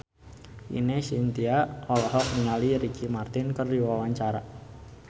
Ine Shintya olohok ningali Ricky Martin keur diwawancara